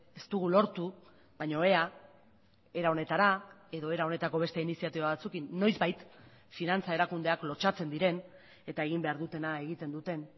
ez dugu lortu baina ea era honetara edo era honetako beste iniziatiba batzuekin noizbait finantza erakundeak lotsatzen diren eta egin behar dutena egiten duten